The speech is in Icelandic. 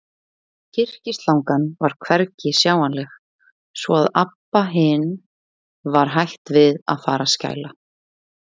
Kyrkislangan var hvergi sjáanleg, svo að Abba hin var hætt við að fara að skæla.